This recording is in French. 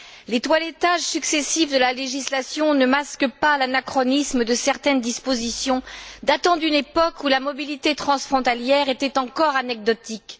Les toilettages successifs de la législation ne masquent pas l'anachronisme de certaines dispositions datant d'une époque où la mobilité transfrontalière était encore anecdotique.